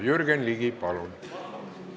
Jürgen Ligi, palun!